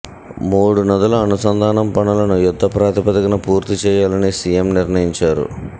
మూడు నదుల అనుసంధానం పనులను యుద్ధప్రాతిపదికన పూర్తి చేయాలని సీఎం నిర్ణయించారు